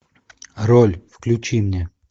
роль включи мне